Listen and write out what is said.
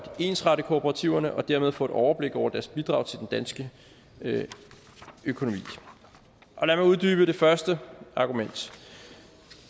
ensrette kooperativerne og dermed få et overblik over deres bidrag til den danske økonomi og lad mig uddybe det første argument